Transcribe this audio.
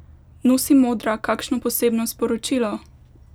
Nosi modra kakšno posebno sporočilo?